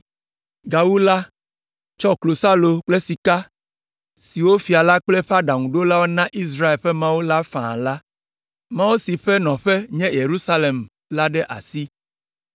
Gawu la, tsɔ klosalo kple sika siwo fia la kple eƒe aɖaŋuɖolawo na Israel ƒe Mawu la faa la, Mawu si ƒe nɔƒe nye Yerusalem la ɖe asi.